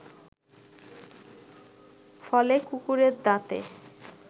ফলে কুকুরের দাঁতে